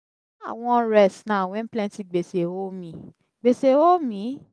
how i wan rest now wen plenty gbese hol me? gbese hol me?